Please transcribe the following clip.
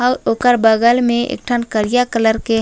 आऊ ओकर बगल में एक ठन करिया कलर के--